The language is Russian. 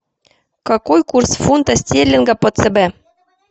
какой курс фунта стерлинга по цб